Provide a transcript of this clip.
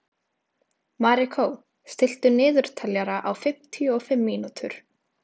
Marikó, stilltu niðurteljara á fimmtíu og fimm mínútur.